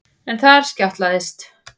En þar skjátlaðist